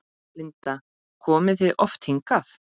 Linda: Komið þið oft hingað?